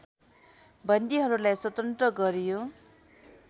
बन्दीहरूलाई स्वतन्त्र गरियो